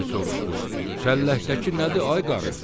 Biri soruşdu: "Çəlləkdəki nədir ay qarı?"